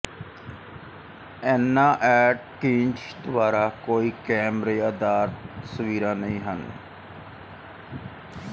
ਐਨਾ ਐਟਕਿੰਜ ਦੁਆਰਾ ਕੋਈ ਕੈਮਰੇ ਆਧਾਰਿਤ ਤਸਵੀਰਾਂ ਨਹੀਂ ਹਨ